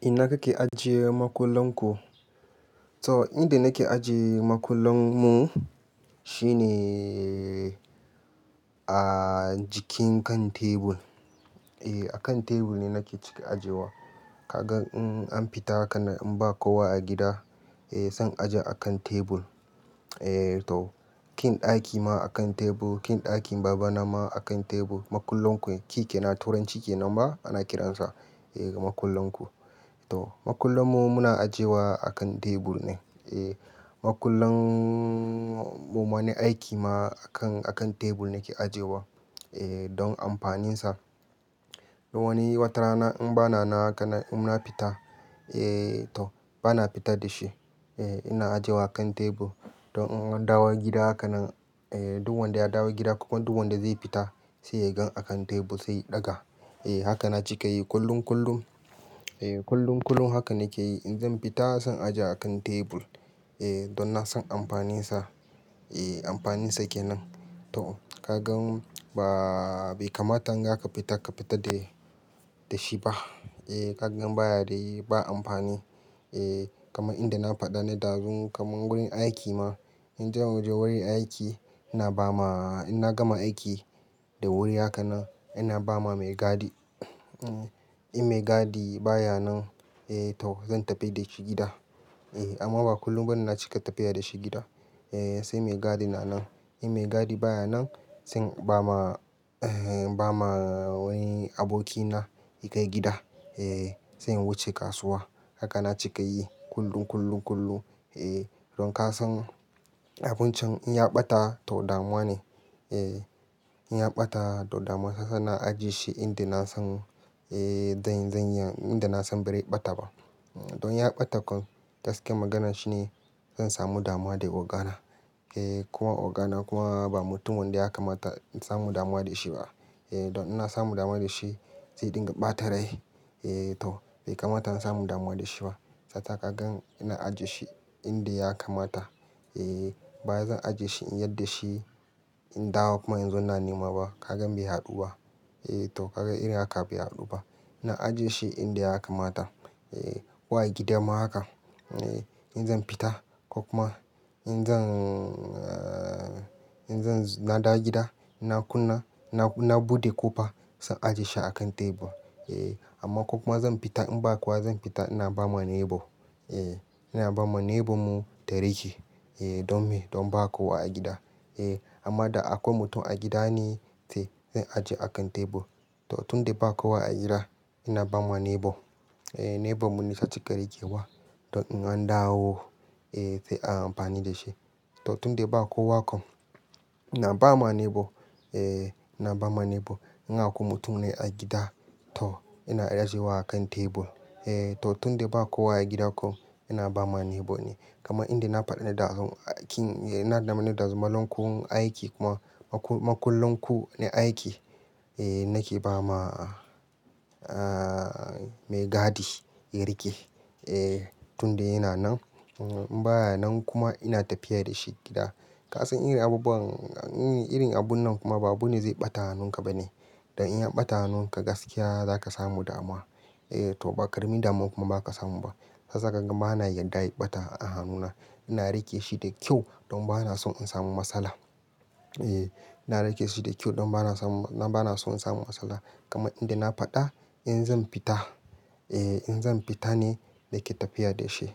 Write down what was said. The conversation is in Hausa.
Ina kake ajiye makullan ku? To, inda nake ajiye makullan mu shine a jikin kan tebur. E, a kan tebur ne nake cika ajiyewa. Kaga in an fita haka in ba kowa a gida, eh, zan aje a kan tebur. Eh to, key ɗaki ma a kan tebur, key ɗakin baba na ma a kan tebur. Makullan ku, key kenan a turanci kenan ba ana kiransa. Eh, makullan ku. To, makullan mu muna ajiyewa a kan tebur ne. Eh, makullan mu wani aiki ma a kan, a kan tebur nake ajiyewa, eh, don amfaninsa. Don wani wata rana in ba na nan haka in na fita, eh to, ba na fitar da shi. Eh, ina ajiyewa a kan tebur. Don in an dawo gida haka nan, eh, duk wanda ya dawo gida ko kuma duk wanda zai fita sai ya gani a kan tebur sai ya ɗaga. Eh, haka na cika yi kullum-kullum. Eh, kullum-kullum haka nake yi. In zan fita zan aje a kan tebur, eh, don na san amfaninsa. Eh, amfaninsa kenan. To, ka ga ba, bai kamata in zaka fita, ka fita da shi ba. Eh, ka ga baya da yi, ba amfani. Eh, kamar inda na faɗa ne ɗazun kamar wurin aiki ma. In zamu je wurin aiki ina ba ma, in na gama aiki da wuri haka nan ina bawa mai gadi. In mai gadi baya nan, eh to, zan tafi da shi gida. Eh, amma ba kullum bane na cika tafiya da shi gida. Eh, sai mai gadi na nan. In mai gadi baya nan zan bawa, eh, bawa wani aboki na ya kai gida, eh, sai in wuce kasuwa. Haka na cika yi kullum, kullum, kullum. Eh, don ka san abun can in ya ɓata to damuwa ne. Eh, in ya ɓata to damuwa ne. Shi yasa ina ajiye shi inda na san, eh, zan, zan yi, inda na san bazai ɓata ba. Don ya ɓata kuma gaskiyar magana shine zan samu damuwa da ogana. Eh, ko ogana kuma ba mutumin da ya kamata in samu damuwa da shi ba. Eh, don ina samu damuwa da shi sai ya ɗinga ɓata rai. Eh to, bai kamata in samu damuwa da shi ba. Shi yasa nake ajiye shi inda ya kamata. Eh, bawai zan ajiye shi in yarda shi in dawo kuma in zo ina nema ba. Kaga bai haɗu ba. Eh to, kaga irin haka bai haɗu ba. Ina ajiye shi inda ya kamata. Eh, ko a gida ma haka. In zan fita ko kuma in zan, in zan, na dawo gida ina kunna, na, na buɗe ƙofa zan ajiye shi a kan tebur. Eh, amma ko kuma zan fita in ba kowa zan fita ina ba ma neighbor. Eh, ina ba ma neighbor mu ta rike, eh, don me, don ba kowa a gida. Eh, amma da akwai mutum a gida ne sai zan ajiye a kan tebur. To, tun da ba kowa a gida ina ba ma neighbor. Eh, neighbor mu ne ta cika rikewa don in an dawo, eh, sai a amfani da shi. To, tun da ba kowa kam, ina ba ma neighbor. Eh, ina ba ma neighbor. In akwai mutum ne a gida to ina ajiye wa a kan tebur. Eh to, tun da ba kowa a gida kom ina ba ma neighbor ne. Kamar inda na faɗa ne ɗazun aikin, eh, ina faɗa ne ɗazun makullan ku aiki kuma makul-makullan ku na aiki, eh, nake ba ma, ah, mai gadi ya rike, eh, tun da yana nan. In baya nan kuma ina tafiya da shi gida. Ka san irin abubuwan, irin abun nan kuma ba abune zai ɓata hannun ka bane. Don in ya ɓata hannun ka gaskiya za ka samu damuwa. Eh to, ba ƙaramin damuwa kuma ba zaka samu ba. Shi yasa ma kaga bana yarda ya ɓata a hannuna. Ina rike shi da kyau don bana son in samu matsala. Eh, ina rike shi da kyau don bana son, bana son in samu matsala. Kama inda na faɗa in zan fita, eh, in zan fita ne nake tafiya da shi.